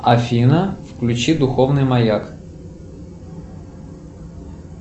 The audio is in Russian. афина включи духовный маяк